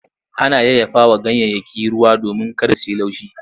Ana yayyafawa ganyayyaki ruwa domin kada su yi laushi.